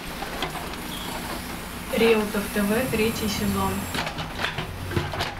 реутов тв третий сезон